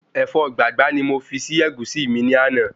Ẹ̀fọ́ gbàgbá ni mo fi si Ẹ̀gúsí mi ní àná